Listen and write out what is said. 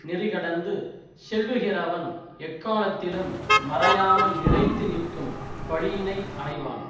நெறிகடந்து செல்லுகிறவன் எக்காலத்திலும் மறையாமல் நிலைத்து நிற்கும் பழியினை அடைவான்